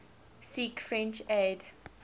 seek french aid